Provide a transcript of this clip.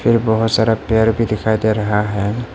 ये बहुत सारा पेड़ भी दिखाई दे रहा है।